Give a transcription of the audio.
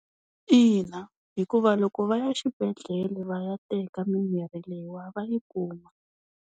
Ina, hikuva loko va ya xibedhlele va ya teka mimirhi leyi wa va yi kuma.